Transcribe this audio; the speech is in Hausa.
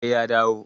sai ya dawo